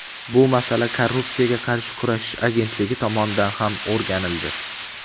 bu masala Korrupsiyaga qarshi kurashish agentligi tomonidan ham o‘rganildi.